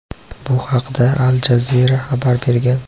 Bu haqda "Al Jazeera" xabar bergan.